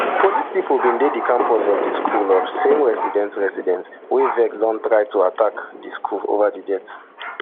police pipo bin dey di campus of di school as some residents residents wey vex don try to attack di school ova di death